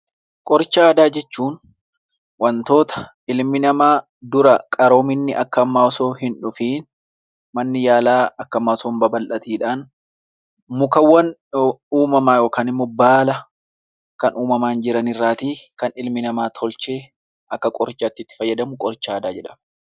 Qoricha aadaa jechuun wantoota dura qaroominni Akka ammaa osoo hin taane manni yaalaa Akka ammaa osoo hin taane mukkeen uumamaa haala kan uumamaan jiran irraa kan ilmi namaa tolchee Akka qorichaatti itti fayyadamu qoricha aadaa jedhama.